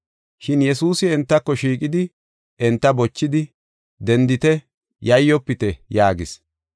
Shin Yesuusi entako shiiqidi enta bochidi, “Dendite, yayyofite!” yaagis.